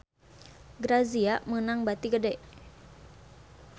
Grazia meunang bati gede